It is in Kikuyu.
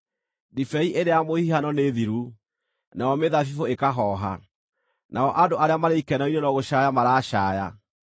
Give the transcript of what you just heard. Ndibei ĩrĩa ya mũhihano nĩ thiru, nayo mĩthabibũ ĩkahooha; nao andũ arĩa marĩ ikeno-inĩ no gũcaaya maracaaya.